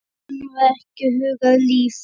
Honum var ekki hugað líf.